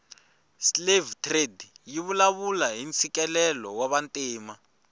slave trade yivulavula hhintsikelelo wavantima